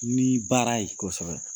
Ni baara ye. Kosɛbɛ.